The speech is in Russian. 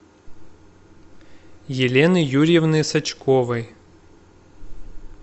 елены юрьевны сачковой